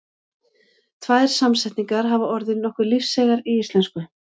Tvær samsetningar hafa orðið nokkuð lífseigar í íslensku.